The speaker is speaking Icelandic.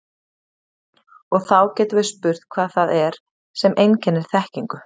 Og þá getum við spurt hvað það er sem einkennir þekkingu.